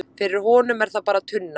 fyrir honum er það bara tunna